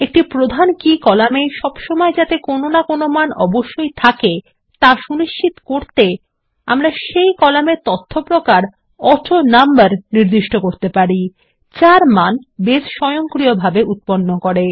একটি প্রধান key column এ সবসময় কোনো না কোনো মান অবশ্যই থাকা সুনিশ্চিত করতে আমরা সেই কলাম এর তথ্য প্রকার অটোনাম্বার নির্দিষ্ট করতে পারি যার মান বেস স্বয়ংক্রিয়ভাবে উৎপন্ন করে